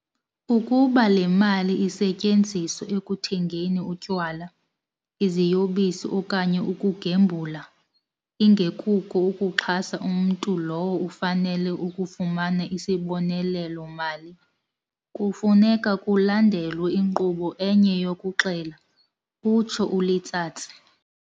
"Ukuba le mali isetyenziswa ekuthengeni utywala, iziyobisi okanye ukugembula, ingekuko ukuxhasa umntu lowo ufanele ukufumana isibonelelo-mali, kufuneka kulandelwe inkqubo enye yokuxela," utsho uLetsatsi.